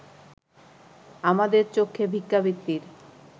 আমাদের চক্ষে ভিক্ষাবৃত্তির